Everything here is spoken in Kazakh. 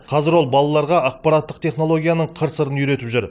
қазір ол балаларға ақпараттық технологияның қыр сырын үйретіп жүр